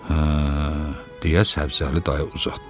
Hə, deyə Səbzəli dayı uzatdı.